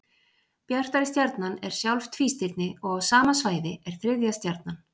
Bjartari stjarnan er sjálf tvístirni og á sama svæði er þriðja stjarnan.